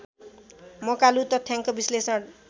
मकालु तथ्याङ्क विश्लेषण